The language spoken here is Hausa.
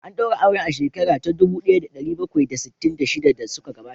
An daura auren a shekara ta dubu daya da dari bakwai da sittin da shida da suka gabata